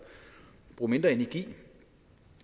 bruge mindre energi